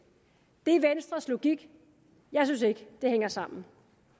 det er venstres logik jeg synes ikke det hænger sammen